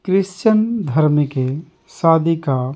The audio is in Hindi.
क्रिश्चियन धर्म के शादी का --